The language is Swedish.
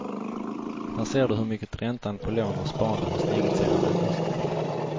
Här ser du hur mycket räntan på lån och sparande har stigit sedan augusti.